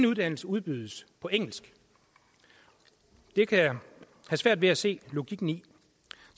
uddannelse udbydes på engelsk og det kan jeg have svært ved at se logikken i